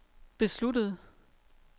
besluttede